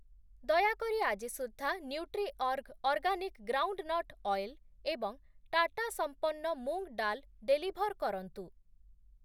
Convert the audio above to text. ଦୟାକରି ଆଜି ସୁଦ୍ଧା ନ୍ୟୁଟ୍ରିଅର୍ଗ ଅର୍ଗାନିକ୍ ଗ୍ରାଉଣ୍ଡନଟ୍ ଅଏଲ୍ ଏବଂ ଟାଟା ସମ୍ପନ୍ନ ମୁଂଗ୍ ଡାଲ୍ ଡେଲିଭର୍ କରନ୍ତୁ ।